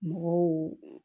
Mɔgɔw